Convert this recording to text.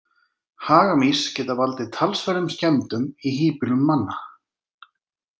Hagamýs geta valdið talsverðum skemmdum í híbýlum manna.